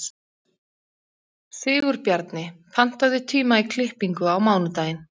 Sigurbjarni, pantaðu tíma í klippingu á mánudaginn.